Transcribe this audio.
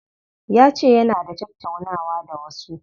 Yace yana da tattaunawa da wasu.